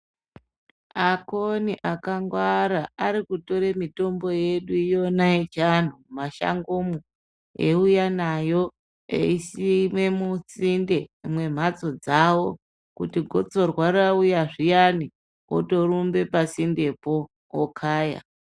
Akoni akangwara ari kutora mitombo yedu yona yechiantu mumashango mwo, eiuya nayo eisime musinde mwemhatso dzawo. Kuti gotsorwa rauya zviyani otorumba pasindepo okaya.